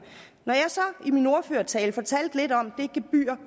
når jeg så i min ordførertale fortalte lidt om det gebyr